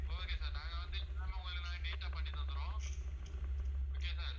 okay sir நாங்க வந்து உங்களுக்கு நாங்க neat ஆ பண்ணி தந்துருவோம் okay யா sir